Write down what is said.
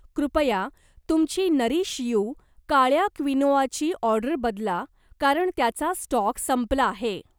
कृपया तुमची Nourish You काळ्या क्विनोआची ऑर्डर बदला कारण त्याचा स्टॉक संपला आहे